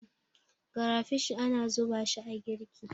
karafishi ana zuba shi a girki